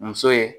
Muso ye